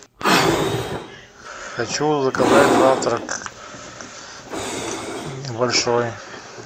хочу заказать завтрак большой